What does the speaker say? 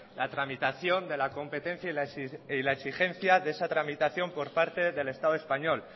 la tramitación de la competencia y la exigencia de esa tramitación por parte del estado español